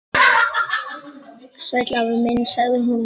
Sæll afi minn sagði hún.